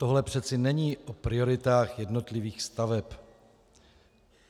Tohle přece není o prioritách jednotlivých staveb.